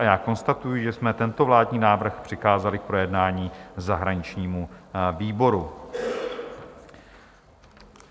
A já konstatuji, že jsme tento vládní návrh přikázali k projednání zahraničnímu výboru.